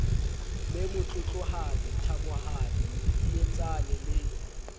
be motlotlohadi thabohadi medidietsane le